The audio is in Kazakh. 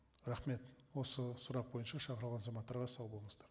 рахмет осы сұрақ бойынша шақырылған азаматтарға сау болыңыздар